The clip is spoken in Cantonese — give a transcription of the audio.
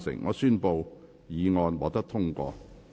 我宣布議案獲得通過。